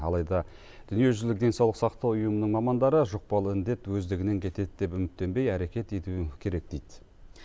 алайда дүниежүзілік денсаулық сақтау ұйымының мамандары жұқпалы індет өздігінен кетеді деп үміттенбей әрекет ету керек дейді